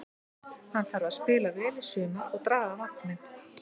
Hann þarf að spila vel í sumar og draga vagninn.